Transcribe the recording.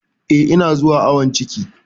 Eh, ina zuwa awon ciki.